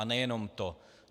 A nejenom to.